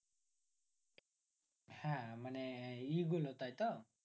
হ্যাঁ মানে এই গুলো তাইতো